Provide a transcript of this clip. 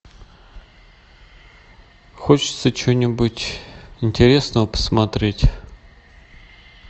хочется чего нибудь интересного посмотреть